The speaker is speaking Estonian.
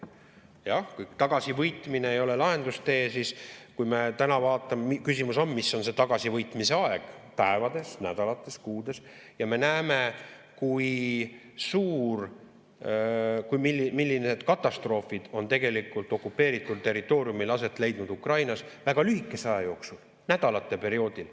Jah, kui tagasivõitmine ei ole lahendustee, siis küsimus on, mis on see tagasivõitmise aeg – päevades, nädalates, kuudes –, ja me näeme, kui suured ja millised katastroofid on tegelikult okupeeritud territooriumil aset leidnud Ukrainas väga lühikese aja jooksul, nädalatega.